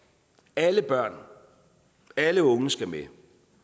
alle børn alle unge skal med